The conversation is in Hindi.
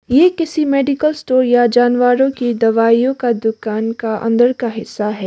ये किसी मेडिकल स्टोर या जानवरों के दवाइयों का दुकान का अंदर का हिस्सा है।